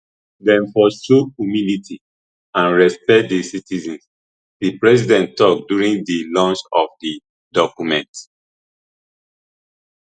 dem for show humility and respect di citizens di president tok during di launch of di document